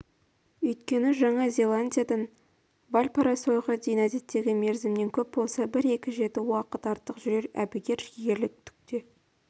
өйткені жаңа зеландиядан вальпарайсоға дейін әдеттегі мерзімнен көп болса бір-екі жеті уақыт артық жүрер әбігер шегерлік түк те